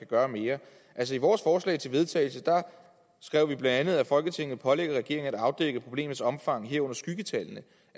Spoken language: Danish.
gøre mere i vores forslag til vedtagelse skrev vi bla at folketinget pålægger regeringen at afdække problemets omfang herunder skyggetallene